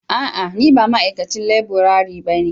A'a! Ni ba ma'aikacin laburare bane.